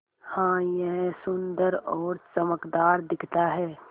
हाँ यह सुन्दर और चमकदार दिखता है